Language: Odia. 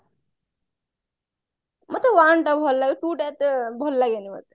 ମତେ one ଟା ଭଲ ଲାଗେ two ଟା ଏତେ ଭଲ ଲଗେନି ମତେ